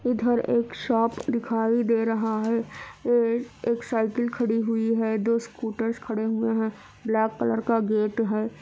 इधर एक शॉप दिखाई दे रहा है | अ एक साइकिल खड़ी हुई है | दो स्कूटर्स खड़े हुए है | ब्लैक कलर का गेट है।